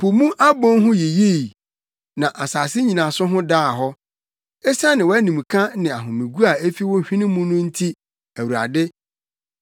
Po mu abon ho yiyii na asase nnyinaso ho daa hɔ, esiane wʼanimka ne ahomegu a efi wo hwene mu no nti, Awurade.